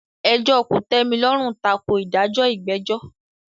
Ẹjọ́ kòtẹ́milọ́rùn tako ìdájọ́ ìgbẹ́jọ́.